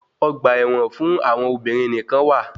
Ọgba ẹ̀wọn fún àwọn obìnrin nìkán wà.